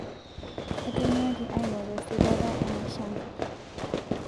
Etonyuaaki aing'oru esipata einashankarr